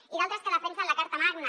i d’altres que defensen la carta magna